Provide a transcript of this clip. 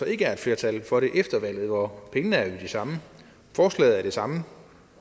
ikke er et flertal for det efter valget og pengene er jo de samme og forslaget er det samme